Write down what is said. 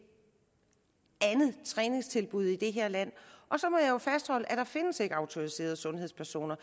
andet træningstilbud i det her land og så må jeg jo fastholde at der ikke findes autoriserede sundhedspersoner